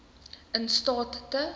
in staat te